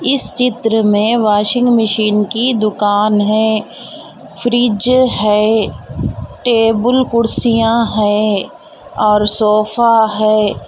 इस चित्र में वाशिंग मशीन की दूकान है फ्रिज है टेबल खुरसिया है और सोफा है.